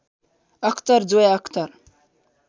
Akhtar Zoya Akhtar